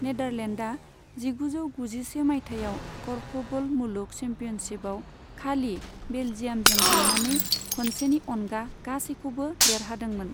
नेदारलेण्डआ जिगुजौ गुजिसे मायथाइयाव क'र्फबल मुलुग चेम्पियनशिपआव खालि बेलजियामजों जेननानै खनसेनि अनगा गासैखौबो देरहादोंमोन।